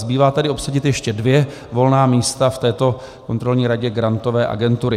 Zbývá tedy obsadit ještě dvě volná místa v této Kontrolní radě Grantové agentury.